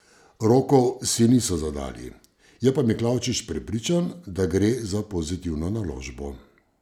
Rokov si niso zadali, je pa Miklavčič prepričan, da gre za pozitivno naložbo.